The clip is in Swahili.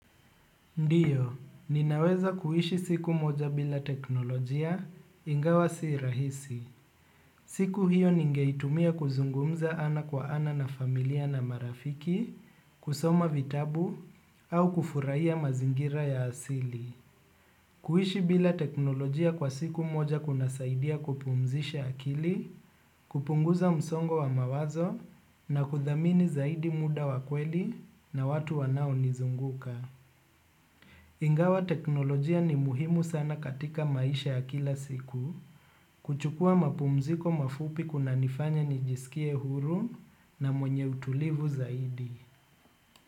Ndiyo, ninaweza kuishi siku moja bila teknolojia ingawa si rahisi. Siku hiyo ningeitumia kuzungumza ana kwa ana na familia na marafiki, kusoma vitabu, au kufuraiya mazingira ya asili. Kuishi bila teknolojia kwa siku moja kuna saidia kupumzisha akili, kupunguza msongo wa mawazo, na kudhamini zaidi muda wakweli na watu wanao nizunguka. Ingawa teknolojia ni muhimu sana katika maisha ya kila siku, kuchukua mapumziko mafupi kuna nifanya nijisikie huru na mwenye utulivu zaidi.